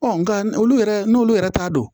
nka olu yɛrɛ n'olu yɛrɛ t'a dɔn